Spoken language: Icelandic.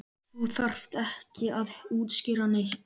Þú þarft ekki að útskýra neitt.